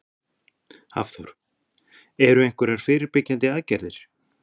Hafþór: Eru einhverjar fyrirbyggjandi aðgerðir?